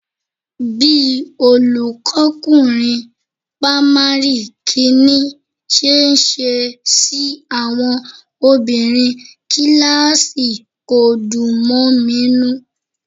Bí olùkọ́kunrin pamari kìíní ṣe ń ṣe sí àwọn obìnrin kíláàsì kò dùn mọ mi nínú